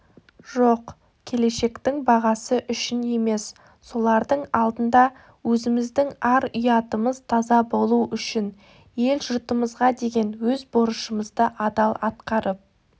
жоқ келешектің бағасы үшін емес солардың алдында өзіміздің ар-ұятымыз таза болу үшін ел-жұртымызға деген өз борышымызды адал атқарып